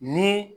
Ni